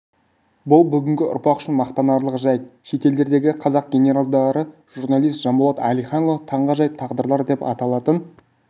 бұл бүгінгі ұрпақ үшін мақтанарлық жайт шетелдердегі қазақ генералдары журналист жанболат әлиханұлы таңғажайып тағдырлар деп аталатын